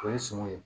O ye sɔngɔn ye